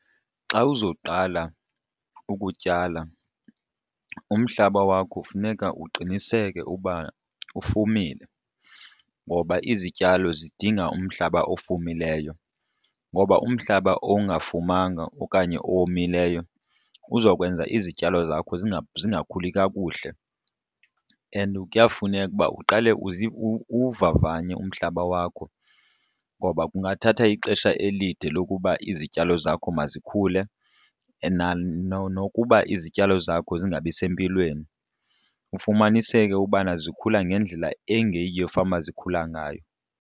Xa uzoqala ukutyala umhlaba wakho funeka uqiniseke uba ufumile ngoba izityalo zidinga umhlaba ofumileyo ngoba umhlaba ongafumanga okanye owomileyo uzokwenza izityalo zakho zingakhuli kakuhle. And kuyafuneka ukuba uqale uwuvavanye umhlaba wakho ngoba kungathatha ixesha elide lokuba izityalo zakho mazikhule, and nokuba izityalo zakho zingabi sempilweni ufumaniseke ukubana zikhula ngendlela engeyiyo fanuba zikhula ngayo.